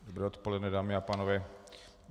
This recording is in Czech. Dobré odpoledne, dámy a pánové.